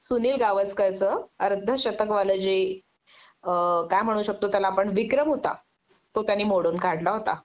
सुनील गावस्करच अर्ध शतकवाल जे अ काय म्हणू शकतो त्याला आपण विक्रम होता तो त्यांनी मोडून काढला होता